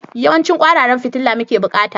Yawancin kwararan fitila muke bukata?